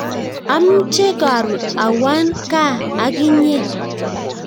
Amche karun awan kaa ak inye